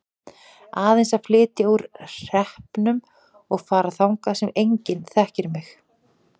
Aðeins að flytja úr hreppnum og fara þangað sem enginn þekkir mig.